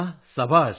സബാഷ്